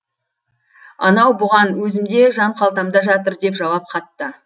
анау бұған өзімде жан қалтамда жатыр деп жауап қатты